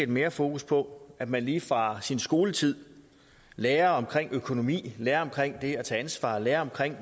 mere fokus på at man lige fra sin skoletid lærer om økonomi lærer om det at tage ansvar lærer om